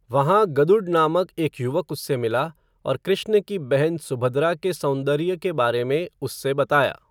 वहाँ, गदुड नामक एक युवक उससे मिला, और कृष्ण की बहन, सुभद्रा के सौंदरिय के बारे में, उससे बताया